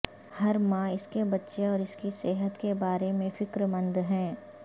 ہر ماں اس کے بچے اور اس کی صحت کے بارے میں فکرمند ہیں